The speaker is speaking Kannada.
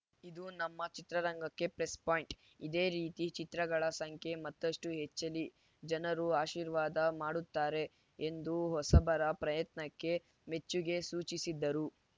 ಇದು ನಮ್ಮ ಚಿತ್ರರಂಗಕ್ಕೆ ಪ್ಲಸ್‌ ಪಾಯಿಂಟ್‌ ಇದೇ ರೀತಿ ಚಿತ್ರಗಳ ಸಂಖ್ಯೆ ಮತ್ತಷ್ಟುಹೆಚ್ಚಲಿ ಜನರು ಆಶೀರ್ವಾದ ಮಾಡುತ್ತಾರೆ ಎಂದು ಹೊಸಬರ ಪ್ರಯತ್ನಕ್ಕೆ ಮೆಚ್ಚುಗೆ ಸೂಚಿಸಿದರು